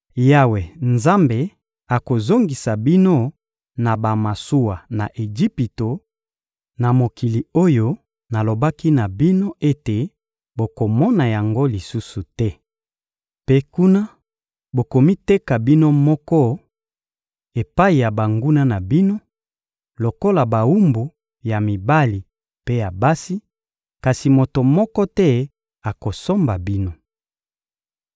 Yawe Nzambe akozongisa bino na bamasuwa na Ejipito, na mokili oyo nalobaki na bino ete bokomona yango lisusu te. Mpe kuna, bokomiteka bino moko epai ya banguna na bino lokola bawumbu ya mibali mpe ya basi, kasi moto moko te akosomba bino.